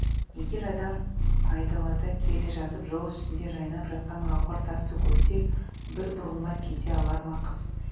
егер адам айдалада келе жатып жол үстінде жайнап жатқан гауһар тасты көрсе бір бұрылмай кете алар ма қыз